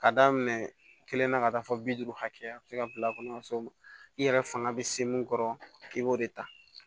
Ka daminɛ kelenna ka taa fɔ bi duuru hakɛya a bɛ se ka bila a kɔnɔ ka se o ma i yɛrɛ fanga bɛ se mun kɔrɔ i b'o de ta